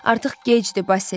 Artıq gecdir, Basil.